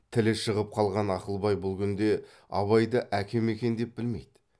тілі шығып қалған ақылбай бұл күнде абайды әкем екен деп білмейді